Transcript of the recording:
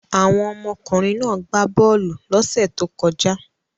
Àwọn ọmọkùnrin náà gbá bọ́ọ́lù lọ́sẹ̀ tó kọjá.